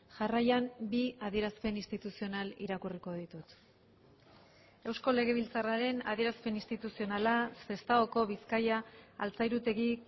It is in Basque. jarraian bi adierazpen instituzional irakurriko ditut eusko legebiltzarraren adierazpen instituzionala sestaoko bizkaia altzairutegi